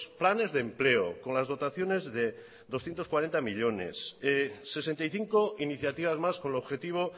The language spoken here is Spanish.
planes de empleo con las dotaciones de doscientos cuarenta millónes sesenta y cinco iniciativas más con el objetivo